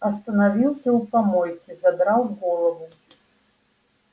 остановился у помойки задрал голову